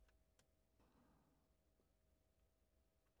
Fredag d. 2. november 2012